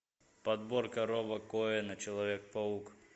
подборка роба коэна человек паук